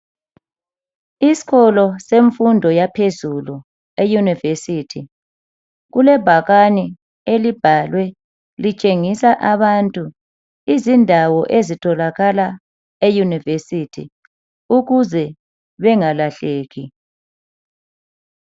Isikolo semfundo yaphezulu eUniversity kulebhakani elibhalwe litshengisa abantu izindawo ezitholakala eUniversity ukuze bengalahleki.